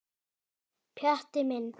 Pjatti minn.